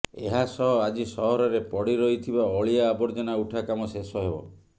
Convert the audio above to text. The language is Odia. ଏହାସହ ଆଜି ସହରରେ ପଡିରହିଥିବା ଅଳିଆ ଆବର୍ଜନା ଉଠା କାମ ଶେଷ ହେବ